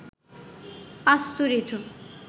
পাস্তুরিত